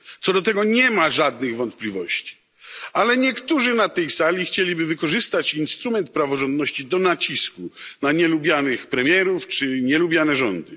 Co do tego nie ma żadnych wątpliwości, ale niektórzy na tej sali chcieliby wykorzystać instrument praworządności do nacisku na nielubianych premierów czy nielubiane rządy.